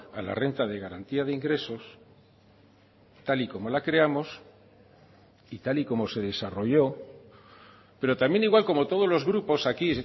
a la renta de garantía de ingresos tal y como la creamos y tal y como se desarrolló pero también igual como todos los grupos aquí